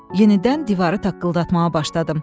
Yenidən divarı taqqıldatmağa başladım.